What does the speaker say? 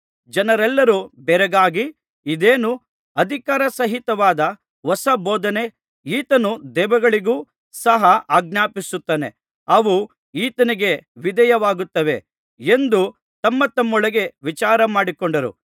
ಜನರೆಲ್ಲರೂ ಬೆರಗಾಗಿ ಇದೇನು ಅಧಿಕಾರಸಹಿತವಾದ ಹೊಸ ಬೋಧನೆ ಈತನು ದೆವ್ವಗಳಿಗೂ ಸಹ ಆಜ್ಞಾಪಿಸುತ್ತಾನೆ ಅವು ಈತನಿಗೆ ವಿಧೇಯವಾಗುತ್ತವೆ ಎಂದು ತಮ್ಮತಮ್ಮೊಳಗೆ ವಿಚಾರಮಾಡಿಕೊಂಡರು